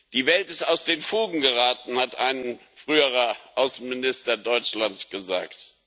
Die Welt ist aus den Fugen geraten, hat ein früherer Außenminister Deutschlands gesagt.